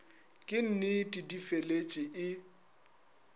ke nnete di feletše e